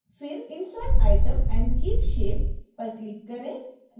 फिर insert item and keep shape पर click करें